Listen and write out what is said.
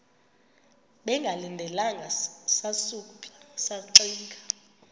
bengalindelanga sasuka saxinga